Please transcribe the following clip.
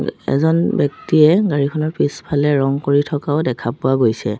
এজন ব্যক্তিয়ে গাড়ীখনৰ পিছফালে ৰং কৰি থকাও দেখা পোৱা গৈছে।